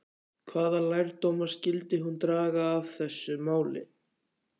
Hvaða lærdóma skyldi hún draga af þessu máli?